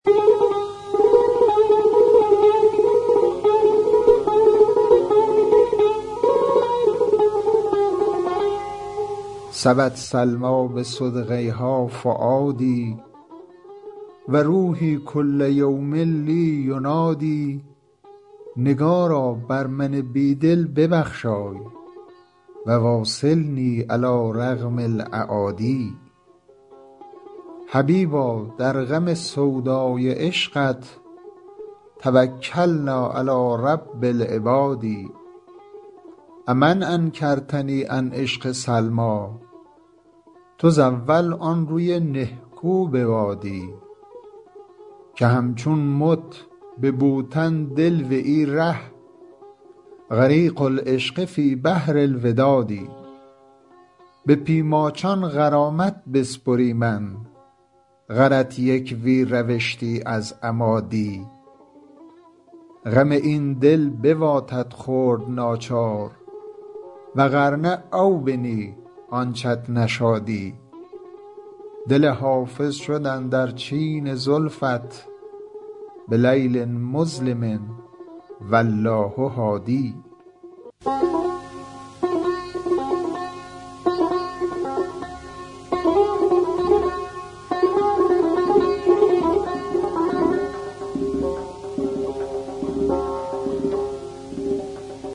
سبت سلمیٰ بصدغیها فؤادي و روحي کل یوم لي ینادی نگارا بر من بی دل ببخشای و واصلني علی رغم الأعادي حبیبا در غم سودای عشقت توکلنا علی رب العباد أ من انکرتني عن عشق سلمیٰ تزاول آن روی نهکو بوادی که همچون مت به بوتن دل و ای ره غریق العشق فی بحر الوداد به پی ماچان غرامت بسپریمن غرت یک وی روشتی از اما دی غم این دل بواتت خورد ناچار و غر نه او بنی آنچت نشادی دل حافظ شد اندر چین زلفت بلیل مظلم و الله هادی